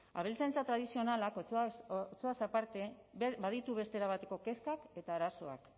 abeltzaintza tradizionalak otxoaz aparte baditu beste erabateko kezkak eta arazoak